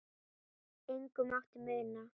Engu mátti muna.